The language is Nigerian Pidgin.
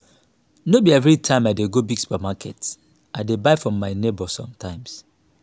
no be everytime i dey go big supermarket i dey buy from my nebor sometimes.